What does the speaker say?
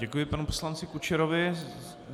Děkuji panu poslanci Kučerovi.